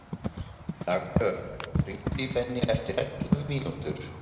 Dagbjörg, hringdu í Benný eftir ellefu mínútur.